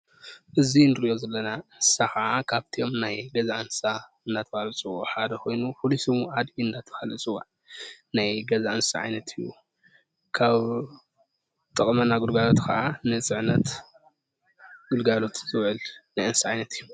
እዚ እንሪኦ ዘለና እንስሳ ከዓ ካብቶ ም ናይ ገዛ እንስሳ እንዳተባሃሉ ዝፅውዑ ሓደ ኮይኑ ፍሉይ ሽሙ ኣድጊ እንዳተባሃለ ይፅዋዕ። ናይ ገዛ እንስሳ ዓይነትን እዩ። ካብኡ ዝጠቅመና ግልጋሎት ከዓ ንፅዕነት ግልጋሎት ዝውዕል ናይ እንስሳ ዓይነት እዩ።